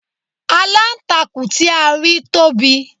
Aláǹtakùn tí a rí tóbi